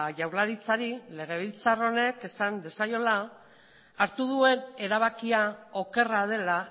jaurlaritzari legebiltzar honek esan diezaiola hartu duen erabakia okerra dela